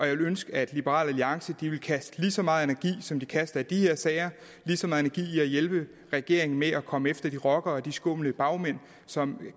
jeg ville ønske at liberal alliance ville kaste lige så meget energi som de kaster i de her sager i at hjælpe regeringen med at komme efter de rockere og de skumle bagmænd som